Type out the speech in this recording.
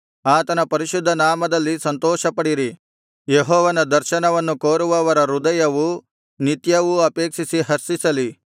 ಆತನ ಪರಿಶುದ್ಧನಾಮದಲ್ಲಿ ಸಂತೋಷಪಡಿರಿ ಯೆಹೋವನ ದರ್ಶನವನ್ನು ಕೋರುವವರ ಹೃದಯವು ನಿತ್ಯವೂ ಅಪೇಕ್ಷಿಸಿ ಹರ್ಷಿಸಲಿ